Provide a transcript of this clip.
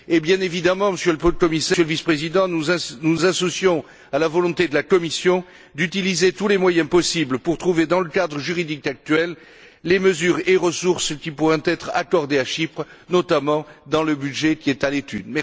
Et bien évidemment, Monsieur le Vice président, nous nous associons à la volonté de la Commission d'utiliser tous les moyens possibles pour trouver, dans le cadre juridique actuel, les mesures et ressources qui pourront être accordées à Chypre, notamment dans le budget qui est à l'étude.